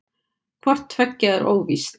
Hvort tveggja er óvíst.